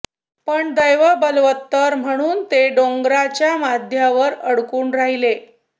पण दैव बलवत्तर म्हणून ते डोंगराच्या मध्यावर अडकून राहिले